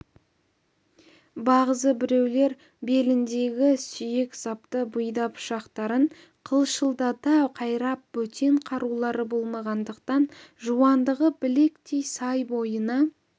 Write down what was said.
бағзы біреулер беліндегі сүйек сапты бұйда пышақтарын қылшылдата қайрап бөтен қарулары болмағандықтан жуандығы білектей сай бойына